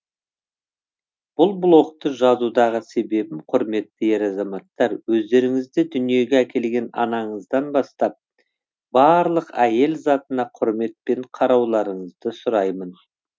бұл блокты жазудағы себебім құрметті ер азаматтар өздеріңізді дүниеге әкелген анаңыздан бастап барлық әйел затына құрметпен қарауларыңызды сұраймын